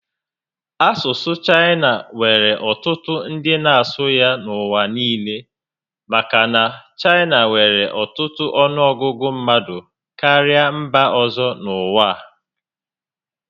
Asusu Chaina nwere otutu ndi na asu ya n'uwa niile maka na Chaina nwere otutu onuogugu mmadu karia mba ozo n'uwa a